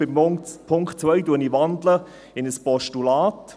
Den Punkt 2 wandle ich in ein Postulat.